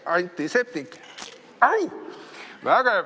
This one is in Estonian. Vägev!